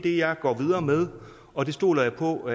jeg går videre med og det stoler jeg på